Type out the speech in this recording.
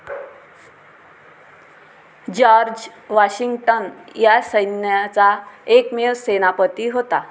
George Washington या सैन्याचा एकमेव सेनापती होता.